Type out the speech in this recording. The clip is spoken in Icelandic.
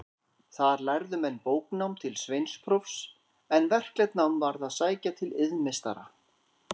Þar lærðu menn bóknám til sveinsprófs, en verklegt nám varð að sækja til iðnmeistara.